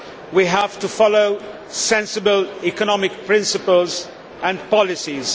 We have to follow sensible economic principles and policies.